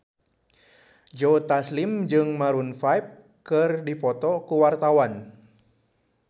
Joe Taslim jeung Maroon 5 keur dipoto ku wartawan